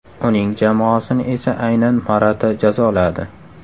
Uning jamoasini esa aynan Morata jazoladi.